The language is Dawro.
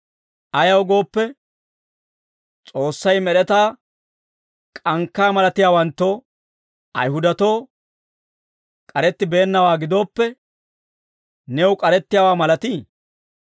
Ayaw gooppe, S'oossay med'etaa k'ankkaa malatiyaawanttoo, Ayihudatoo k'arettibeennawaa gidooppe, new k'arettiyaawaa malatii?